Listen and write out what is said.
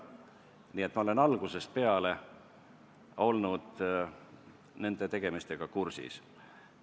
Nii et ma olen algusest peale olnud nende tegemistega kursis.